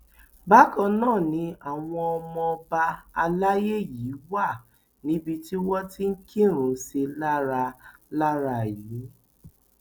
bákan náà ni àwọn ọmọ ọba alayé yìí wà níbi tí wọn ti kírun sí i lára lára yìí